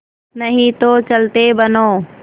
नहीं तो चलते बनो